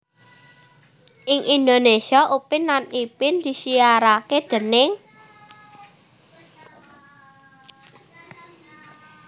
Ing Indonesia Upin lan Ipin disiarake déning